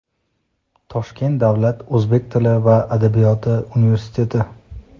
Toshkent davlat o‘zbek tili va adabiyoti universiteti;.